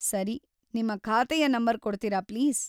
ಸರಿ. ನಿಮ್ಮ ಖಾತೆಯ ನಂಬರ್‌ ಕೊಡ್ತೀರಾ ಪ್ಲೀಸ್?